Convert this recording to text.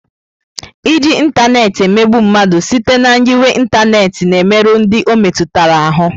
Iji ịntanetị emegbu mmadụ site na nyiwe ịntanetị na-emerụ ndị ọ metụtara ahụ.